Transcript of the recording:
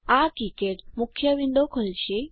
આ કિકાડ મુખ્ય વિન્ડો ખોલશે